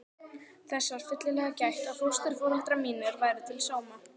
Þess var fyllilega gætt að fósturforeldrar mínir væru til sóma.